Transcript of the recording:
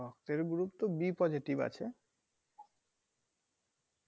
রক্তের group তো b positive আছে